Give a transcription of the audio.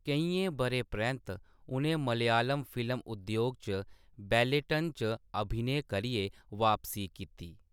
केइयें ब'रें परैंत्त, उ'नें मलयालम फिल्म उद्योग च बैलेटन च अभिनय करियै बापसी कीती।